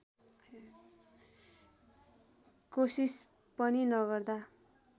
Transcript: कोसिस पनि नगर्दा